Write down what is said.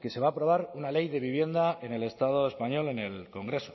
que se va a aprobar una ley de vivienda en el estado español en el congreso